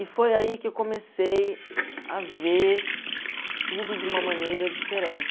E foi aí que eu comecei a ver tudo de uma maneira diferente.